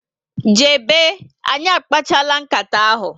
Jebe na anyị akpachapula uka ahụ